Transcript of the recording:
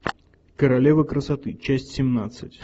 королева красоты часть семнадцать